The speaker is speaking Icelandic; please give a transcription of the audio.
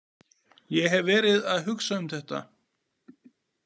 Ég hef verið að hugsa um þetta.